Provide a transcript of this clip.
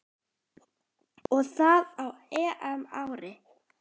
Og það á EM-ári.